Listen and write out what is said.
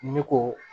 Ne ko